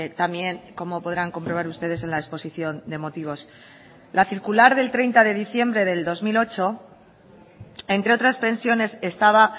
también como podrán comprobar ustedes en la exposición de motivos la circular del treinta de diciembre del dos mil ocho entre otras pensiones estaba